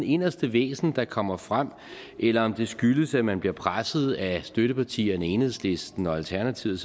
inderste væsen der kommer frem eller om det skyldes at man bliver presset af støttepartierne enhedslisten og alternativet